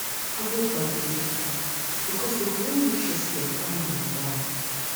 avoid bad belle pipu bikos den go wan mek sure say dem kpai yur moral